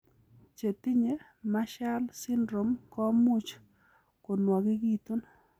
Chetinye Marshall syndrome komuch konwogekitun.